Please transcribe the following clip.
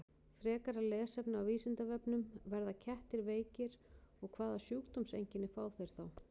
Frekara lesefni á Vísindavefnum: Verða kettir veikir og hvaða sjúkdómseinkenni fá þeir þá?